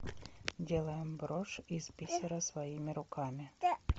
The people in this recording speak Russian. делаем брошь из бисера своими руками